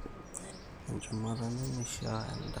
Echumata nemeishiaa endaa.